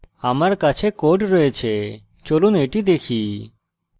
আমার কাছে code রয়েছে চলুন এটি দেখি